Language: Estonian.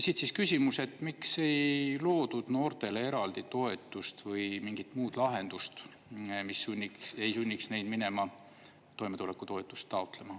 Siit siis küsimus, et miks ei loodud noortele eraldi toetust või mingit muud lahendust, mis ei sunniks neid minema toimetulekutoetust taotlema.